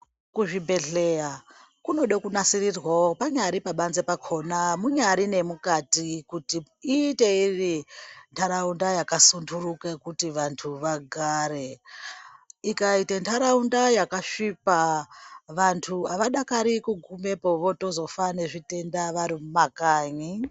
Kuzvibhedhleya kunode kunasirirwa panyari pabanze pakona, munyari nemukati kuti iite ive ntaraunda yakasunduka yekuti vantu vagare. Ikaite ntaraunda yakasvipa vantu havadakari kugumepo votozofa nezvitenda vari mumakanyi.